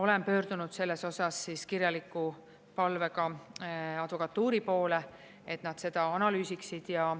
Olen pöördunud selles osas kirjaliku palvega advokatuuri poole, et nad seda analüüsiksid.